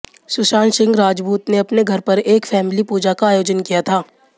सुशांत सिंह राजपूत ने अपने घर पर एक फैमिली पूजा का आयोजन किया था